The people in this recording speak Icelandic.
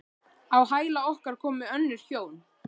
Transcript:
Á hæla okkar komu önnur hjón.